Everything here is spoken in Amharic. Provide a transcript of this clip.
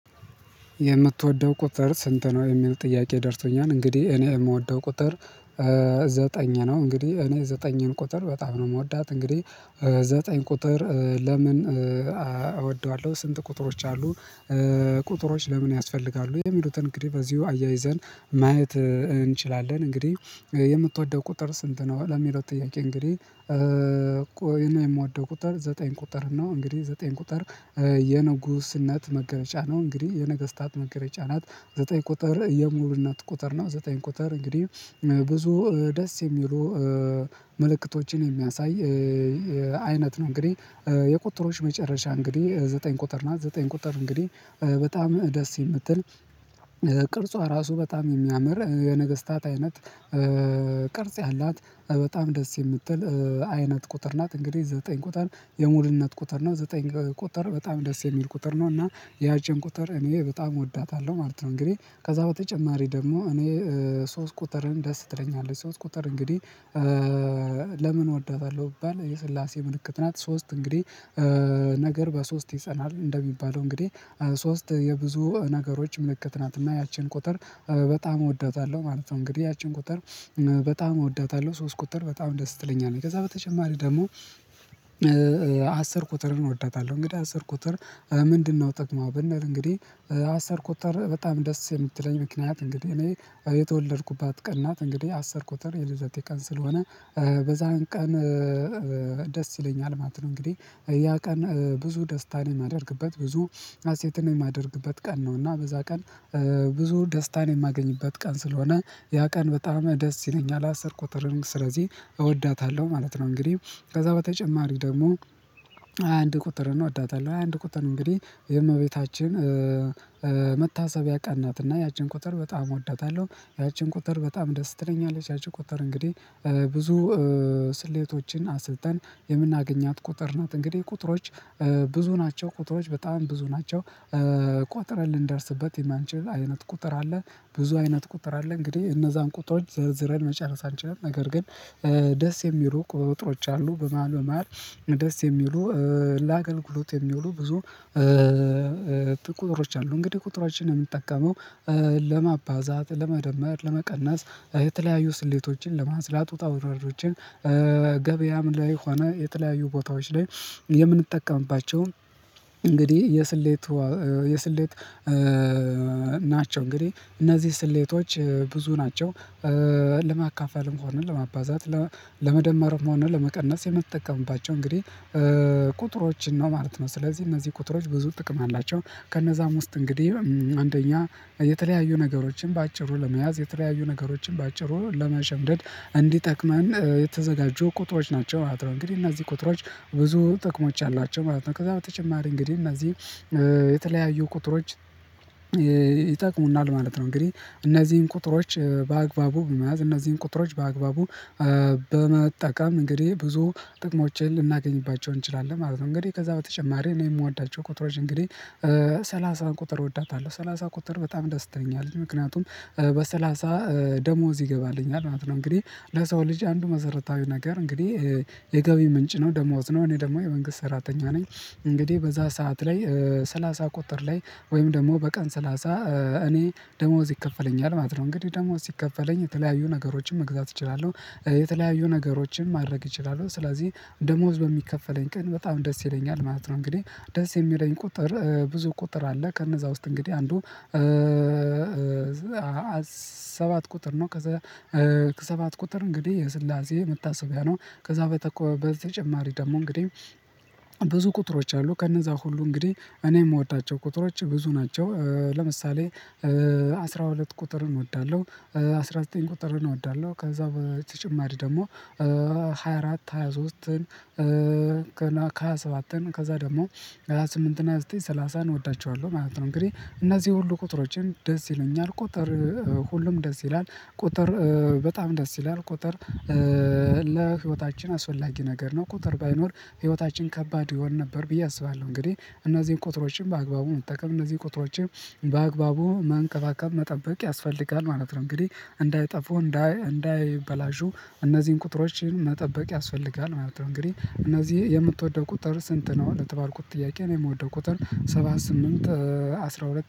የምትወደው ቁጥር ስንት ነው? የሚል ጥያቄ ደርሶኛል እንግዲህ እኔ የምወደው ቁጥር ዘጠኝ ነው። እንግዲህ እኔ ዘጠኝን ቁጥር በጣም ነው የምወዳት እንግዲህ ዘጠኝ ቁጥር ለምን እወደዋለሁ ስንት ቁጥሮች አሉ? ቁጥሮች ለምን ያስፈልጋሉ የሚሉትን እንግዲህ በዚሁ አያይዘን ማየት እንችላለን። እንግዲህ የምትወደው ቁጥር ስንት ነው? ለሚለው ጥያቄ እንግዲህ ቆይ እኔ የምወደው ቁጥር ዘጠኝ ቁጥር ነው። እንግዲህ ዘጠኝ ቁጥር የንጉስነት መገረጫ ነው እንግዲህ የነገስታት መገረጫ ናት። ዘጠኝ ቁጥር የሙሉነት ቁጥር ነው ዘጠኝ ቁጥር እንግዲህ ብዙ ደስ የሚሉ ምልክቶችን የሚያሳይ አይነት ነው። እንግዲህ የቁጥሮች መጨረሻ እንግዲህ ዘጠኝ ቁጥር ናት። ዘጠኝ ቁጥር እንግዲህ በጣም ደስ የምትል ቅርጿ ራሱ በጣም የሚያምር የነገስታት አይነት ቅርጽ ያላት በጣም ደስ የምትል አይነት ቁጥር ናት። እንግዲህ ዘጠኝ ቁጥር የሙሉነት ቁጥር ነው ዘጠኝ ቁጥር በጣም ደስ የሚል ቁጥር ነው። እና ያችን ቁጥር እኔ በጣም እወዳታለሁ ማለት ነው። እንግዲህ ከዛ በተጨማሪ ደግሞ እኔ ሶስት ቁጥርን ደስ ትለኛለች ሶስት ቁጥር እንግዲህ። ለምን እወዳታለሁ ቢባል የስላሴ ምልክት ናት ሶስት እንግዲህ ነገር በሶስት ይጸናል እንደሚባለው እንግዲህ ሶስት የብዙ ነገሮች ምልክት ናት። እና ያችን ቁጥር በጣም እወዳታለሁ ማለት ነው። እንግዲህ ያችን ቁጥር በጣም እወዳታለሁ ሶስት ቁጥር በጣም ደስ ትለኛለች ከዛ በተጨማሪ ደግሞ አስር ቁጥርን እወዳታለሁ። እንግዲህ አስር ቁጥር ምንድነው? ጥቅሙ በንል እንግዲህ አስር ቁጥር በጣም ደስ የምትለኝ ምክንያት እንግዲህ እኔ የተወለድኩባት ቀን ናት እንግዲህ አስር ቁጥር የልደቴ ቀን ስለሆነ በዛን ቀን ደስ ይለኛል ማለት ነው። እንግዲህ ያ ቀን ብዙ ደስታን የማደርግበት ብዙ አሴትን የማደርግበት ቀን ነው። እና በዛ ቀን ብዙ ደስታን የማገኝበት ቀን ስለሆነ ያ ቀን በጣም ደስ ይለኛል አስር ቁጥር ስለዚህ እወዳታለሁ ማለት ነው። እንግዲህ ከዛ በተጨማሪ ደግሞ ሃያ አንድ ቁጥርን እወዳታለሁ ሃያ አንድ ቁጥር እንግዲህ የእመቤታችን መታሰቢያ ቀን ናት። እና ያችን ቁጥር በጣም እወዳታለሁ ያችን ቁጥር በጣም ደስ ትለኛለች ያችን ቁጥር እንግዲህ ብዙ ስሌቶችን አስልተን የምናገኛት ቁጥር ናት። እንግዲህ ቁጥሮች ብዙ ናቸው ቁጥሮች በጣም ብዙ ናቸው ቆጥረን ልንደርስበት የማንችል አይነት ቁጥር አለ። ብዙ አይነት ቁጥር አለ እንግዲህ እነዛን ቁጥሮች ዘርዝረን መጨረስ አንችልም። ነገር ግን ደስ የሚሉ ቁጥሮች አሉ በመሃል በመሃል ደስ የሚሉ ላገልግሉት የሚውሉ ብዙ ቁጥሮች አሉ። እንግዲህ ቁጥሮችን የምንጠቀመው ለማባዛት ለመደመር ለመቀነስ የተለያዩ ስሌቶችን ለማስላት ውጣውረዶን ገበያም ላይ ሆነ የተለያዩ ቦታዎች ላይ የምንጠቀምባቸውን እንግዲህ የስሌት የስሌት ናቸው። እንግዲህ እነዚህ ስሌቶች ብዙ ናቸው ለማካፈልም ሆነ ለማባዛት ለመደመርም ሆነ ለመቀነስ የምንጠቀምባቸው እንግዲህ ቁጥሮችን ነው። ማለት ነው ስለዚህ እነዚህ ቁጥሮች ብዙ ጥቅም አላቸው ከነዛም ውስጥ እንግዲህ አንደኛ የተለያዩ ነገሮችን በአጭሩ ለመያዝ የተለያዩ ነገሮችን በአጭሩ ለመሸምደድ እንዲጠቅመን የተዘጋጁ ቁጥሮች ናቸው ማለት ነው። እንግዲህ እነዚህ ቁጥሮች ብዙ ጥቅሞች አሏቸው ማለት ነው ከዛ በተጨማሪ እንግዲህ እነዚህ የተለያዩ ቁጥሮች ይጠቅሙናል ማለት ነው። እንግዲህ እነዚህን ቁጥሮች በአግባቡ መያዝ እነዚህን ቁጥሮች በአግባቡ በመጠቀም እንግዲህ ብዙ ጥቅሞችን ልናገኝባቸው እንችላለን ማለት ነው። እንግዲህ ከዛ በተጨማሪ እኔ የምወዳቸው ቁጥሮች እንግዲህ ሰላሳ ቁጥር እወዳታለሁ ሰላሳ ቁጥር በጣም ደስ ትለኛለች ምክንያቱም በሰላሳ ደሞዝ ይገባልኛል ማለት ነው። እንግዲህ ለሰው ልጅ አንዱ መሰረታዊ ነገር እንግዲህ የገቢ ምንጭ ነው ደሞዝ ነው እኔ ደግሞ የመንግስት ሰራተኛ ነኝ። እንግዲህ በዛ ሰዓት ላይ ሰላሳ ቁጥር ላይ ወይም ደግሞ በቀን ሰላሳ እኔ ደሞዝ ይከፈለኛል ማለት ነው። እንግዲህ ደሞዝ ሲከፈለኝ የተለያዩ ነገሮችን መግዛት እችላለሁ የተለያዩ ነገሮችን ማድረግ እችላለሁ ስለዚህ ደሞዝ በሚከፈለኝ ቀን በጣም ደስ ይለኛል ማለት ነው። እንግዲህ ደስ የሚለኝ ቁጥር ብዙ ቁጥር አለ ከነዛ ውስጥ እንግዲህ አንዱ ሰባት ቁጥር ነው። ከዛ ከሰባት ቁጥር እንግዲህ የስላሴ መታሰቢያ ነው። ከዛ በተጨማሪ ደግሞ እንግዲህ ብዙ ቁጥሮች አሉ ከነዛ ሁሉ እንግዲህ እኔ የምወዳቸው ቁጥሮች ብዙ ናቸው። ለምሳሌ አስራ ሁለት ቁጥርን እወዳለሁ። አስራ ዘጠኝ ቁጥርን እወዳለሁ ከዛ በተጨማሪ ደግሞ ሃያ አራት ሃያ ሶስትን ከሃያ ሰባትን ከዛ ደግሞ ሃያ ስምንት እና ሃያ ዘጠኝ ሰላሳ እወዳቸዋለሁ ማለት ነው። እንግዲህ እነዚህ ሁሉ ቁጥሮችን ደስ ይሉኛል ቁጥር ሁሉም ደስ ይላል ቁጥር በጣም ደስ ይላል ቁጥር አስፈላጊ ነገር ነው። ቁጥር ባይኖር ህይወታችን ከባድ ይሆን ነበር ብዬ አስባለሁ። እንግዲህ እነዚህን ቁጥሮች በአግባቡ ቁጥሮችን በአግባቡ መንከባከብ መጠበቅ ያስፈልጋል ማለት ነው። እንግዲህ እንዳጠፉ እንዳይበላሹ እነዚህን ቁጥሮችን መጠበቅ ያስፈልጋል ማለት ነው። እንግዲህ እነዚህ የምትወደው ቁጥር ስንት ነው? የተባልኩት ጥያቄ ነው። የምወደው ቁጥር ሰባ ስምንት አስራ ሁለት